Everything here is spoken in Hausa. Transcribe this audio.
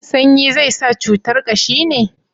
sanyi zai sa cutar kashi ne?